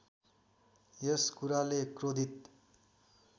यस कुराले क्रोधित